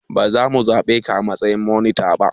Ba za mu zaɓe ka a matsayin monita ba.